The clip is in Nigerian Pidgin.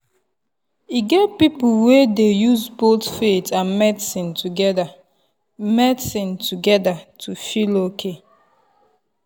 e get people wey dey use both faith and medicine together medicine together to feel okay.